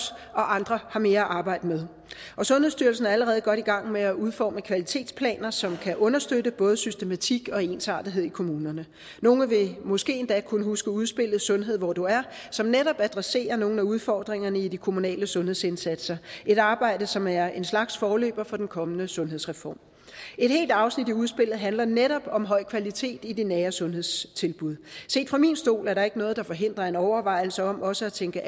og andre har mere at arbejde med og sundhedsstyrelsen er allerede godt i gang med at udforme kvalitetsplaner som kan understøtte både systematik og ensartethed i kommunerne nogle vil måske endda kunne huske udspillet sundhed hvor du er som netop adresserer nogle af udfordringerne i de kommunale sundhedsindsatser et arbejde som er en slags forløber for den kommende sundhedsreform et helt afsnit i udspillet handler netop om høj kvalitet i de nære sundhedstilbud set fra min stol er der ikke noget der forhindrer en overvejelse om også at tænke